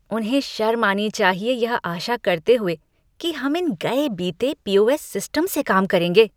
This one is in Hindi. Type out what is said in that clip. उन्हें शर्म आनी चाहिए यह आशा करते हुए कि हम इन गए बीते पी ओ एस सिस्टम से काम करेंगे।